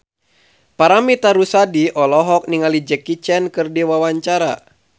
Paramitha Rusady olohok ningali Jackie Chan keur diwawancara